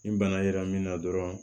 Ni bana yera min na dɔrɔn